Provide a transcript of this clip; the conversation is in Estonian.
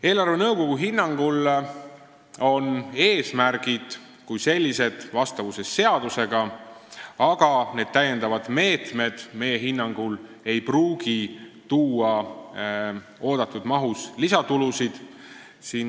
Eelarvenõukogu hinnangul on eesmärgid kui sellised vastavuses seadusega, aga täiendavad meetmed ei pruugi meie arvates tuua oodatud mahus lisatulusid.